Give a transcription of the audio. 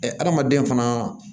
hadamaden fana